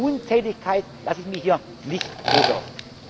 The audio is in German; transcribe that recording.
es Sorge. Nur Untätigkeit lasse ich mir hier nicht